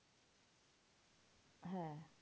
হ্যাঁ